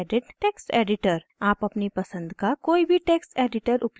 आप अपनी पसंद का कोई भी टेक्स्ट editor उपयोग कर सकते हैं